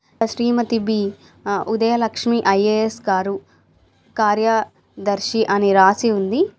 Shrimati B A Udayalakshmi IAS గారు కార్యా దర్శి అని రాసి ఉంది.